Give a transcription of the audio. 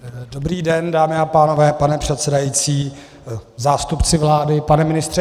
Dobrý den, dámy a pánové, pane předsedající, zástupci vlády, pane ministře.